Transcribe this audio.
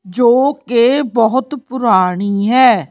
ਜੋ ਕੇ ਬਹੋਤ ਪੁਰਾਣੀ ਹੈ।